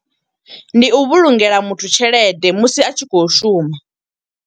Ndi u vhulungela muthu tshelede musi a tshi khou shuma.